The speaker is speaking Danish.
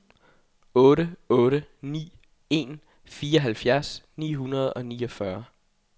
otte otte ni en fireoghalvfjerds ni hundrede og niogfyrre